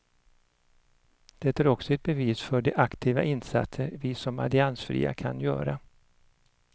Det är också ett bevis för de aktiva insatser vi som alliansfria kan göra.